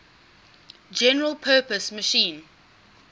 general purpose machine